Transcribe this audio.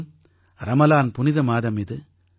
மேலும் ரமலான் புனித மாதம் இது